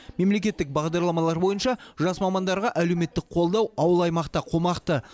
мемлекеттік бағдарламалар бойынша жас мамандарға әлеуметтік қолдау ауыл аймақта қомақты